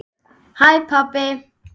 HÆ PABBI!